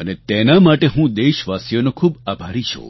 અને તેના માટે હું દેશવાસીઓનો ખૂબ આભારી છું